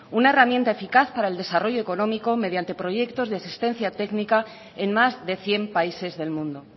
una herramienta eficaz para el desarrollo económico mediante proyectos de existencia técnica en más de cien países del mundo